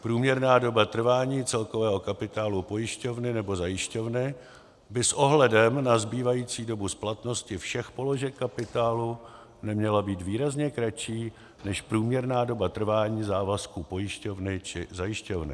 Průměrná doba trvání celkového kapitálu pojišťovny nebo zajišťovny by s ohledem na zbývající dobu splatnosti všech položek kapitálu neměla být výrazně kratší než průměrná doba trvání závazku pojišťovny či zajišťovny.